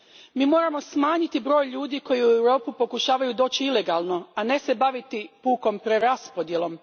Mi moramo smanjiti broj ljudi koji u Europu pokušavaju doći ilegalno, a ne se baviti pukom preraspodjelom.